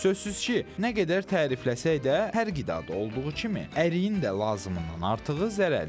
Sözsüz ki, nə qədər tərifləsək də, hər qidada olduğu kimi, əriyin də lazımından artığı zərərlidir.